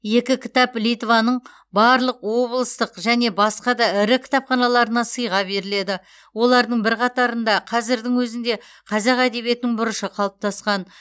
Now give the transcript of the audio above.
екі кітап литваның барлық облыстық және басқа да ірі кітапханаларына сыйға беріледі олардың бірқатарында қазірдің өзінде қазақ әдебиетінің бұрышы қалыптасқан